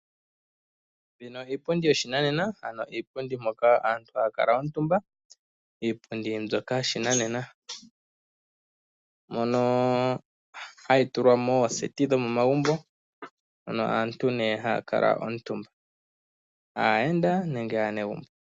Mbino iipundi yoshinanena, ano iipundi moka aantu haya kala omutumba, iipundi mbyoka yoshinanena mono hayi tulwa mooseti dhomomagumbo mono aantu ne haya kala omutumba; aayenda nenge aanegumbo.